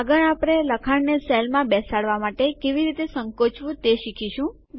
આગળ આપણે લખાણને સેલમાં બેસાડવા માટે કેવી રીતે સંકોચવું તે શીખીશું